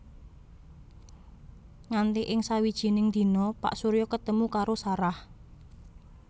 Nganti ing sajiwining dina Pak Surya ketemu karo Sarah